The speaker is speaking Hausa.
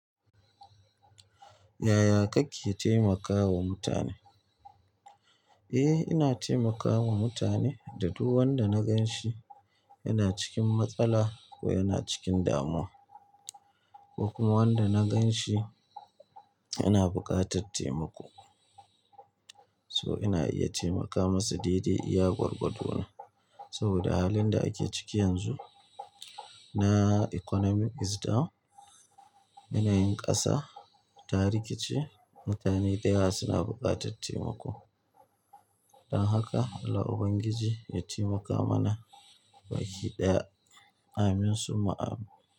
Yaya kake taimakawa mutane? Eh, ina taimakawa mutane da duk wanda na gan shi yana cikin matsala ko yana cikin damuwa, ko kuma wanda na gan shi yana buƙatar taimako. So ina iya taimaka masa dai dai iya gwargwado na. Saboda halin da ake ciki yanzu na economy is down, yanayin ƙasa ta rikici, mutane da yawa suna buƙatar taimako. Don haka Allah Ubangiji ya taimaka mana baki ɗaya. Amin summa amin.